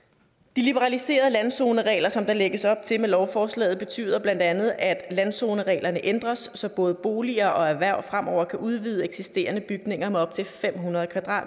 de liberaliserede landzoneregler som der lægges op til med lovforslaget betyder bla at landzonereglerne ændres så både boliger og erhverv fremover kan udvide eksisterende bygninger med op til fem hundrede